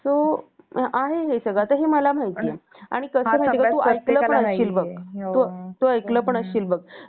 so हे आहे सगळं म्हणजे आता हे मला माहिती आहे आणि तू ऐकलं पण असशील बघ